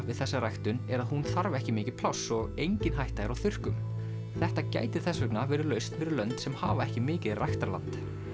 við þessa ræktun er að hún þarf ekki mikið pláss og engin hætta er á þurrkum þetta gæti þess vegna verið lausn fyrir lönd sem hafa ekki mikið ræktarland